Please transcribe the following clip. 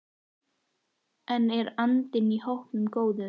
En er andinn í hópnum góður?